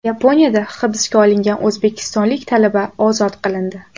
Yaponiyada hibsga olingan o‘zbekistonlik talaba ozod qilindi.